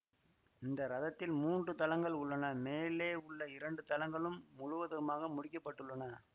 இந்த ரதத்தில் மூன்று தளங்கள் உள்ளன மேலே உள்ள இரண்டு தளங்களும் முழுவதுமாக முடிக்கப்பட்டுள்ளன